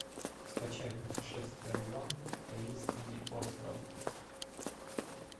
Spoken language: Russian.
скачай путешествие два таинственный остров